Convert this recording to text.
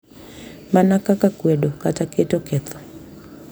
Mana kaka kwedo kata keto ketho,